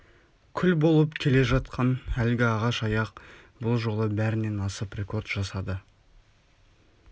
күл болып келе жатқан әлгі ағаш аяқ бұл жолы бәрінен асып рекорд жасады